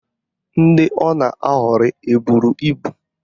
Ndị ọ na-aghọrịrị eburu ibu?